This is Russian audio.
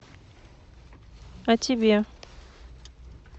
а тебе